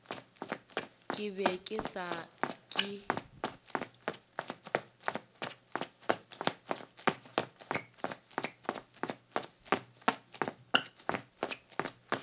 ke be ke sa ke